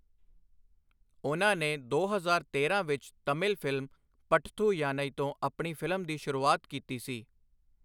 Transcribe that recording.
ਉਨ੍ਹਾਂ ਨੇ ਦੋ ਹਜ਼ਾਰ ਤੇਰਾਂ ਵਿੱਚ ਤਮਿਲ ਫਿਲਮ 'ਪੱਟਥੂ ਯਾਨਈ' ਤੋਂ ਆਪਣੀ ਫਿਲਮ ਦੀ ਸ਼ੁਰੂਆਤ ਕੀਤੀ ਸੀ।